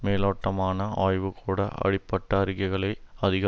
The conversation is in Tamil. மேலோட்டமான ஆய்வு கூட அப்படிப்பட்ட அறிக்கைகளை அதிக